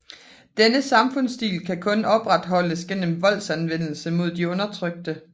Denne samfundstilstand kan kun opretholdes gennem voldsanvendelse mod de undertrykte